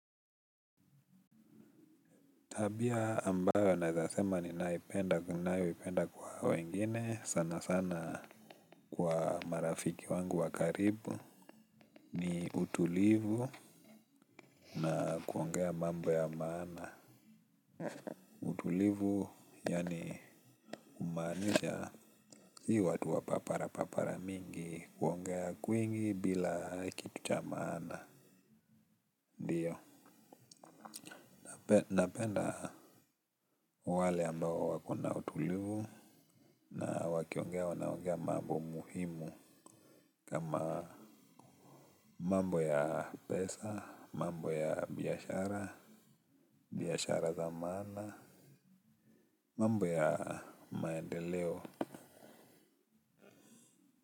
Tabia ambayo naweza sema ninayo ipenda kwa wengine sana sana kwa marafiki wangu wa karibu ni utulivu na kuongea mambo ya maana utulivu yaani kumaanisha si watu wa paparapapara mingi yaani kuongea kwingi bila kitu cha maana. Ndiyo, napenda wale ambao wakona utulivu na wakiongea wanaongea mambo muhimu kama mambo ya pesa, mambo ya biashara, biashara za maana, mambo ya maendeleo.